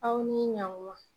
Aw ni ɲankuma.